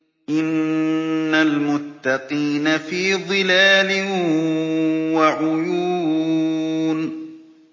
إِنَّ الْمُتَّقِينَ فِي ظِلَالٍ وَعُيُونٍ